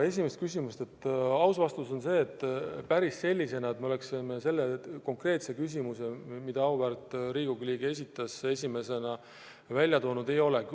Esimese küsimuse aus vastus on see, et päris sellisena, nagu auväärt Riigikogu liige oma küsimuse esitas, me seda teemat käsitlenud ei ole.